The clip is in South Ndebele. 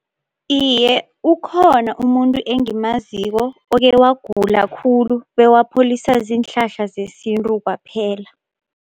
Iye, ukhona umuntu engimaziko okhe wagula khulu bewapholiswa ziinhlahla zesintu kwaphela.